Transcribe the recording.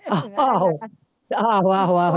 ਆਹੋ ਆਹੋ ਆਹੋ ਆਹੋ